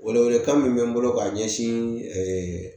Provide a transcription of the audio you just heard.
Welewelekan min bɛ n bolo ka ɲɛsin